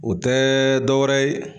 O tɛ dɔ wɛrɛ ye